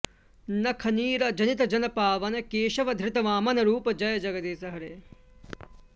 नख नीर जनित जन पावन केशव धृत वामन रूप जय जगदीश हरे